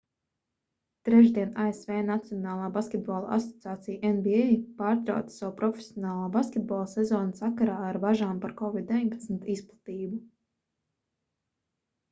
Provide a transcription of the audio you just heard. trešdien asv nacionālā basketbola asociācija nba pārtrauca savu profesionālā basketbola sezonu sakarā ar bažām par covid-19 izplatību